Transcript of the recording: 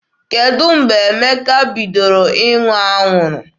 Kedụ mgbe Emeka bidoro ṅụwa anwụrụ?